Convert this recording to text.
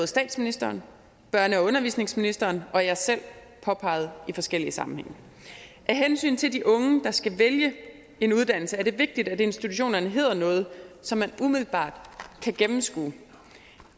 statsministeren børne og undervisningsministeren og jeg selv påpeget i forskellige sammenhænge af hensyn til de unge der skal vælge en uddannelse er det vigtigt at institutionerne hedder noget som man umiddelbart kan gennemskue